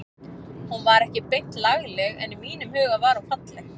Hún var ekki beint lagleg en í mínum huga var hún falleg.